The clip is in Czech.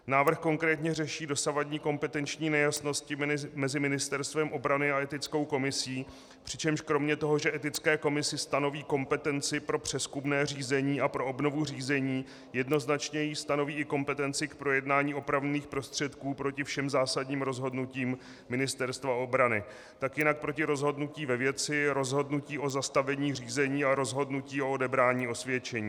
Návrh konkrétně řeší dosavadní kompetenční nejasnosti mezi Ministerstvem obrany a Etickou komisí, přičemž kromě toho, že Etické komisi stanoví kompetenci pro přezkumné řízení a pro obnovu řízení, jednoznačně jí stanoví i kompetenci k projednání opravných prostředků proti všem zásadním rozhodnutím Ministerstva obrany, tak jinak proti rozhodnutí ve věci, rozhodnutí o zastavení řízení a rozhodnutí o odebrání osvědčení.